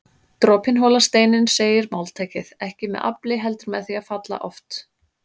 Dropinn holar steininn segir máltækið, ekki með afli heldur með því að falla oft